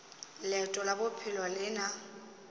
leeto la bophelo le na